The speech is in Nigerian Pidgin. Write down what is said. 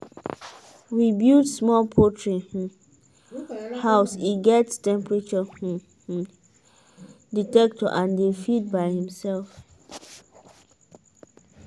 we build smart poultry um house e get temperature um um dectector and dey feed by himself.